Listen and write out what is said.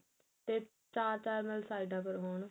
ਤੇ ਚਾਰ ਚਾਰ ਨਾਲ ਸਾਈਡਾ ਪਰ ਹੋਣ